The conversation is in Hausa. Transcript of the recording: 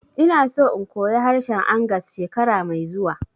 Ina so in koya harshen Angas shekara mai zuwa